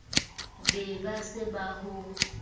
be ba se ba ho